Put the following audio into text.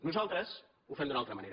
nosaltres ho fem d’una altra manera